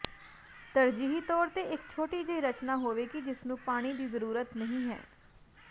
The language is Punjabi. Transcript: ਤਰਜੀਹੀ ਤੌਰ ਤੇ ਇੱਕ ਛੋਟੀ ਜਿਹੀ ਰਚਨਾ ਹੋਵੇਗੀ ਜਿਸ ਨੂੰ ਪਾਣੀ ਦੀ ਜ਼ਰੂਰਤ ਨਹੀਂ ਹੈ